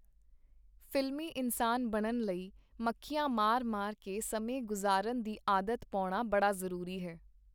ਫ਼ਿਲਮੀ ਇਨਸਾਨ ਬਣਨ ਲਈ ਮੱਖੀਆਂ ਮਾਰ-ਮਾਰ ਕੇ ਸਮੇਂ ਗੁਜ਼ਾਰਨ ਦੀ ਆਦਤ ਪਾਉਣਾ ਬੜਾ ਜ਼ਰੂਰੀ ਹੈ.